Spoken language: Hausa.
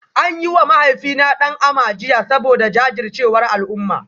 An yi wa mahaifina "Dan Ama" jiya saboda jajircewar al'umma